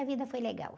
A vida foi legal.